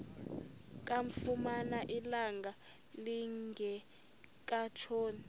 kamfumana ilanga lingekatshoni